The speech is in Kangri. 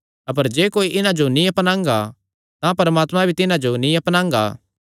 अपर जे कोई इन्हां जो नीं अपनांगा तां परमात्मा भी तिन्हां जो नीं अपनांगा